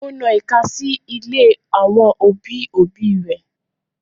Ó na ìka sí ilé àwọn òbí òbí rẹ̀